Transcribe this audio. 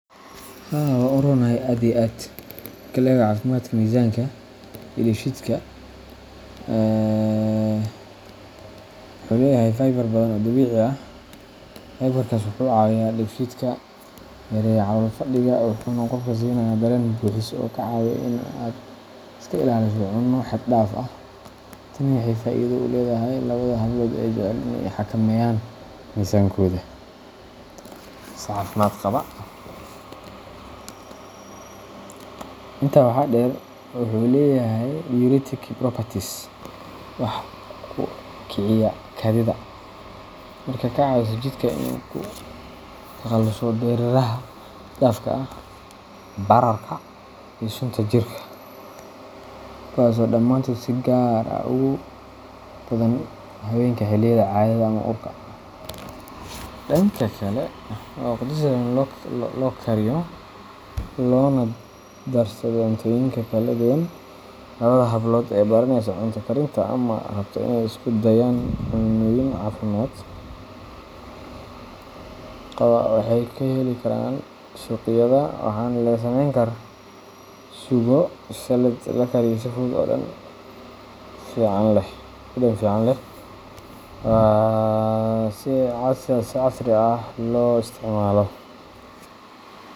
Haa waa uronahay aaad iyo aad Marka la eego caafimaadka miisaanka iyo dheefshiidka, wuxuu leeyahay fiber badan oo dabiici ah. Fiber-kaas wuxuu caawiyaa dheefshiidka, yareeyaa calool fadhiga, wuxuuna qofka siinayaa dareen buuxis ah oo kaa caawiya in aad iska ilaaliso cunno xad dhaaf ah. Tani waxay faa’iido u leedahay labada hablood ee jecel in ay xakameeyaan miisaankooda si caafimaad qaba. Intaa waxaa dheer, wuxuu leeyahay diuretic properties wax uu kiciyaa kaadida, taasoo ka caawisa jidhka inuu ka takhaluso dareeraha xad-dhaafka ah, bararka, iyo sunta jirka kuwaas oo dhammaantood si gaar ah ugu badan haweenka xilliyada caadada ama uurka. Dhanka kale, waa khudrad si sahlan loo kariyo loona darsado cuntooyinka kala duwan. Labada hablood ee baraneysa cunto karinta ama rabta inay isku dayaan cunnooyin caafimaad qaba waxay ka heli karaan asparagus suuqyada, waxaana laga sameyn karaa suugo, salad, ama la kariyo si fudud oo dhadhan fiican leh. Waa khudrad si casri ah loo isticmaalo.